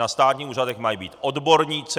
Na státních úřadech mají být odborníci.